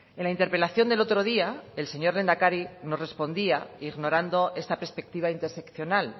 en la interpelación del otro día el señor lehendakari nos respondía ignorando esta perspectiva interseccional